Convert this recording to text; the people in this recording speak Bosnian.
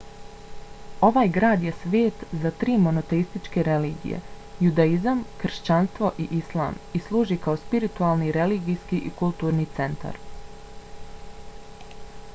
ovaj grad je svet za tri monoteističke religije – judaizam kršćanstvo i islam i služi kao spiritualni religijski i kulturni centar